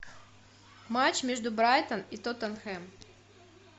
матч между брайтон и тоттенхэм